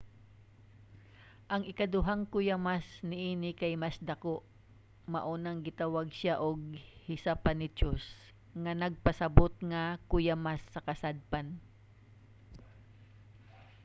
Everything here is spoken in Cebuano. ang ikaduhang kuyamas niini kay mas dako mao nang gitawag siya og hesapannychus nga nagpasabot nga kuyamas sa kasadpan.